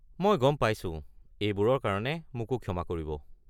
মই গম পাইছোঁ! এইবোৰৰ কাৰণে মোকো ক্ষমা কৰিব।